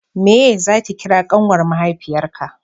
meye za ki kira ƙanwar mahaifiyar ka